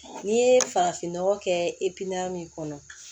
N'i ye farafinnɔgɔ kɛ i pan min kɔnɔ